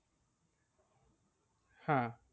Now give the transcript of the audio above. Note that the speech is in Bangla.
হ্যাঁ